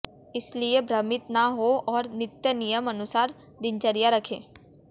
इसलिए भ्रमित ना हों और नित्य नियम अनुसार दिनचर्या रखें